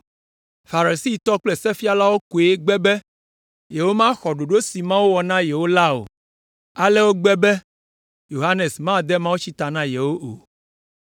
Farisitɔwo kple sefialawo koe gbe be yewomaxɔ ɖoɖo si Mawu wɔ na yewo la o. Ale wogbe be Yohanes made mawutsi ta na yewo o.)